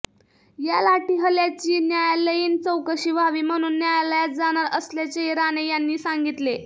या लाठीहल्याची न्यायालयाीन चौकशी व्हावी म्हणून न्यायालयात जाणार असल्याचेही राणे यांनी सांगितले